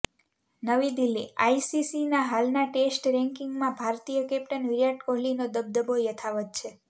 નવી દિલ્હીઃ આઈસીસીના હાલના ટેસ્ટ રેન્કિંગમાં ભારતીય કેપ્ટન વિરાટ કોહલીનો દબદબો યથાવત છે